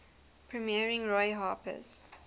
premiering roy harper's